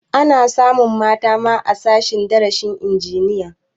Ana samun mata ma a sashen darasin injiniya